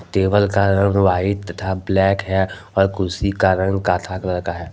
Table का रंग white तथा ब्लैक हैं और कुर्सी का रंग काथा कलर का है।